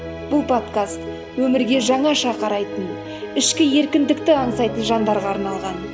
бұл подкаст өмірге жаңаша қарайтын ішкі еркіндікті аңсайтын жандарға арналған